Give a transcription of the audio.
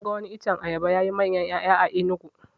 Na ga wani iccen ayaba yayi manyan ƴaya a enugu